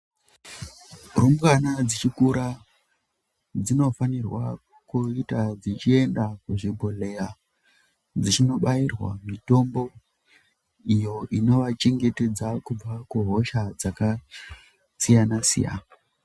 Rumbwana dzichikura dzinofanirwa kuita dzichienda kuzvibhehlera dzichinobairwa mitombo iyo ino vachengetedza kubva kuhosha dzakasiyana-siyana.